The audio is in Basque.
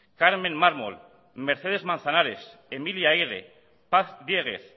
carmen mármol mercedes manzanares emilia eyre paz diéguez